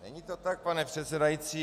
Není to tak, pane předsedající.